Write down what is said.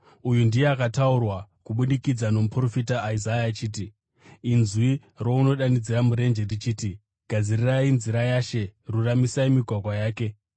Uyu ndiye akataurwa kubudikidza nomuprofita Isaya zvichinzi: “Inzwi rounodanidzira murenje richiti, ‘Gadzirai nzira yaShe, ruramisai migwagwa yake.’ ”